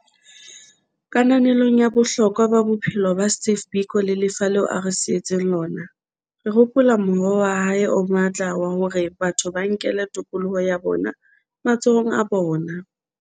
Kananelong ya bohlokwa ba bophelo ba Steve Biko le lefa leo a re sietseng lona, re hopola mohoo wa hae o matla wa hore batho ba nkele tokoloho ya bona matsohong a bona.